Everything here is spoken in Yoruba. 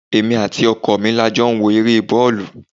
Èmi àti ọkọ mi la jọ ń wo ere boolu.